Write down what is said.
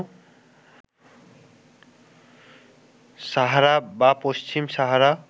সাহারা বা পশ্চিম সাহারা